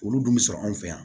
Olu dun bɛ sɔrɔ anw fɛ yan